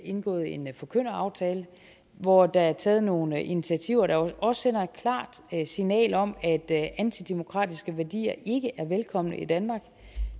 indgået en forkynderaftale hvor der er taget nogle initiativer der også sender et klart signal om at antidemokratiske værdier ikke er velkomne i danmark